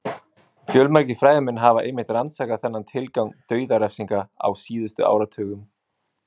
Fjölmargir fræðimenn hafa einmitt rannsakað þennan tilgang dauðarefsinga á síðustu áratugum.